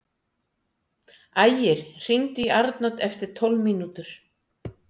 Ægir, hringdu í Arnodd eftir tólf mínútur.